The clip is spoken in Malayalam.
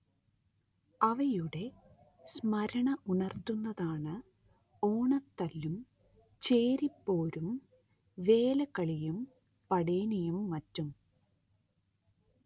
അവയുടെ സ്മരണ ഉണർത്തുന്നതാണ് ഓണത്തല്ലും ചേരിപ്പോരും വേലകളിയും പടേനിയും മറ്റും